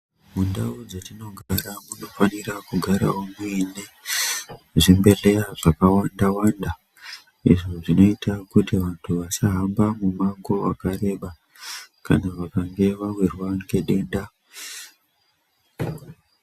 Mundau dza tinogara muno fanira kugarawo muine zvibhedhlera zvaka wanda wanda izvo zvinoita kuti vantu vasa hamba mu mango wakareba kana vakange va wirwa nge denda.